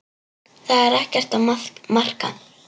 Það er ekkert að marka.